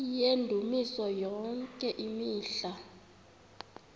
yendumiso yonke imihla